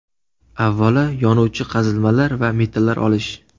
Avvalo, yonuvchi qazilmalar va metallar olish.